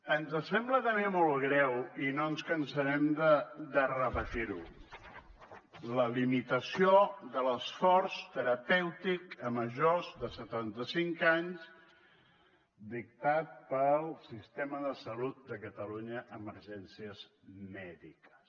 ens sembla també molt greu i no ens cansarem de repetir ho la limitació de l’esforç terapèutic a majors de setanta cinc anys dictat pel sistema de salut de catalunya emergències mèdiques